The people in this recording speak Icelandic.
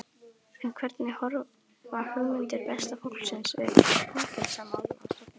En hvernig horfa hugmyndir Besta flokksins við Fangelsismálastofnun?